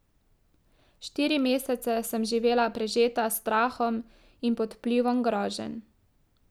Štiri mesece sem živela prežeta s strahom in pod vplivom groženj.